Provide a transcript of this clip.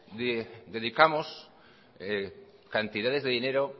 dedicamos cantidades de dinero